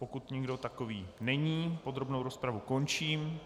Pokud nikdo takový není, podrobnou rozpravu končím.